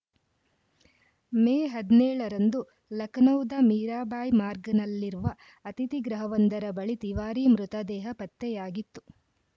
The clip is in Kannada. ಮೇ ಹದಿನೇಳ ರಂದು ಲಖನೌದ ಮೀರಾಬಾಯ್‌ ಮಾರ್ಗ್‌ನಲ್ಲಿರುವ ಅತಿಥಿಗೃಹವೊಂದರ ಬಳಿ ತಿವಾರಿ ಮೃತ ದೇಹ ಪತ್ತೆಯಾಗಿತ್ತು